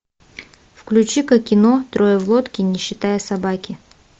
включи ка кино трое в лодке не считая собаки